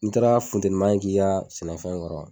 N taara funtenima k'i ka sɛnɛfɛn ŋɔrɔ